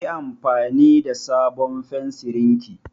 Yi anfani da sabon fensirin ki!